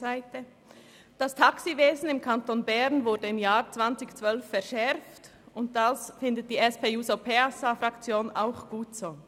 Die TaxiV wurde im Kanton Bern 2012 verschärft, und dies findet die SP-JUSO-PSAFraktion auch gut so.